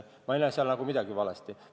Ma ei näe selles midagi valesti olevat.